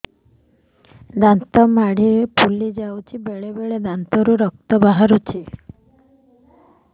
ଦାନ୍ତ ମାଢ଼ି ଫୁଲି ଯାଉଛି ବେଳେବେଳେ ଦାନ୍ତରୁ ରକ୍ତ ବାହାରୁଛି